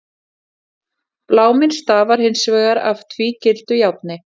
Bláminn stafar hins vegar af tvígildu járni.